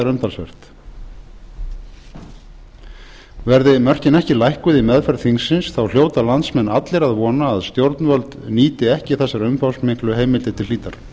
umtalsvert verði mörkin ekki lækkuð í meðferð þingsins þá hljóta landsmenn allir að vona að stjórnvöld nýti ekki þessar umfangsmiklu heimildir til hlítar